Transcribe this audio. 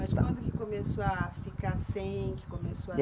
Mas quando que começou a ficar sem que começou a